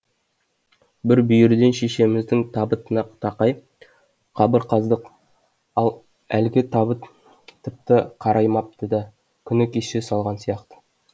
бір бүйірден шешеміздің табытына тақай қабыр қаздық ал әлгі табыт тіпті қараймапты да күні кеше салған сияқты